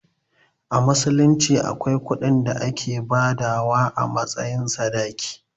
A musulunci akwai kuɗin da ake badawa a matsayin sadaki.